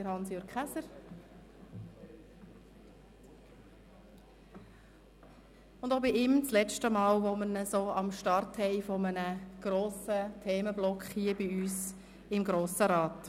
Auch ihn haben wir zum letzten Mal beim Start eines grossen Themenblocks hier bei uns im Grossen Rat.